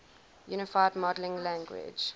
unified modeling language